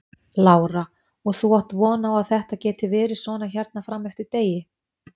Lára: Og þú átt von á að þetta geti verið svona hérna fram eftir degi?